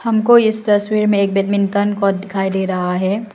हमको इस तस्वीर में एक बैडमिंटन कोर्ट दिखाई दे रहा है।